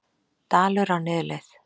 Dalur á niðurleið